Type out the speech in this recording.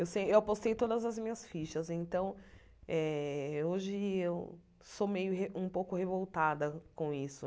Eu sem eu postei todas as minhas fichas, então eh hoje eu sou meio re um pouco revoltada com isso.